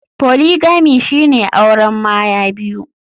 Polygamy shine auren Maya biyu.